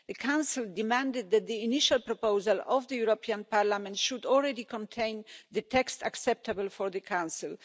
The Council demanded that the initial proposal of the European Parliament should already contain the text acceptable for the Council.